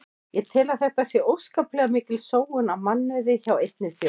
Ég tel að þetta sé óskaplega mikil sóun á mannauði hjá einni þjóð.